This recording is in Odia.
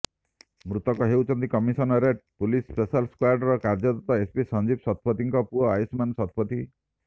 ମୃତକ ହେଉଛନ୍ତି କମିଶନରେଟ ପୁଲିସର ସ୍ପେଶାଲ ସ୍କ୍ୱାଡରେ କାର୍ଯ୍ୟରତ ଏସିପି ସଞ୍ଜୀବ ଶତପଥୀଙ୍କ ପୁଅ ଆୟୁଷ୍ମାନ ଶତପଥୀ